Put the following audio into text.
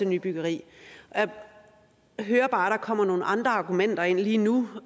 nybyggeri jeg hører bare kommer nogle andre argumenter ind lige nu